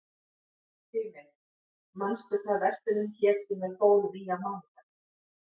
Hymir, manstu hvað verslunin hét sem við fórum í á mánudaginn?